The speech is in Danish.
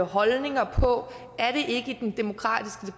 holdninger på